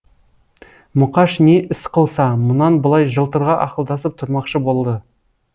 мұқаш не іс қылса мұнан былай жылтырға ақылдасып тұрмақшы болды